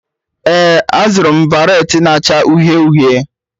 Ee, azụrụ m baret na-acha uhie uhie.